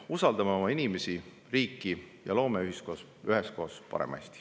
Usaldame oma inimesi ja riiki ning loome üheskoos parema Eesti!